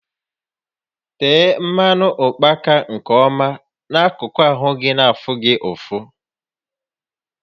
Tee mmanụ ụkpaka nke ọma n'akụkụ ahụ gị na afụ gị ụfụ